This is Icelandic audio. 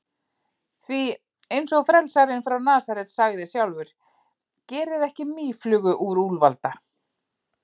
Því, eins og frelsarinn frá Nasaret sagði sjálfur: Gerið ekki mýflugu úr úlfalda.